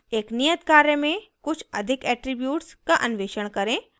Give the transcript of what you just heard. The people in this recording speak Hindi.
एक नियत कार्य में कुछ अधिक एट्रीब्यूट्स का अन्वेषण करें